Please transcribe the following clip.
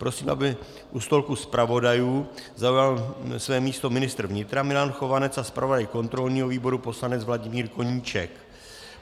Prosím, aby u stolku zpravodajů zaujal své místo ministr vnitra Milan Chovanec a zpravodaj kontrolního výboru poslanec Vladimír Koníček.